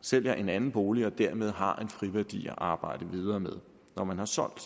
sælger en anden bolig og dermed har en friværdi at arbejde videre med når man har solgt